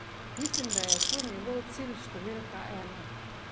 Mislim, da je to njegov cilj številka ena.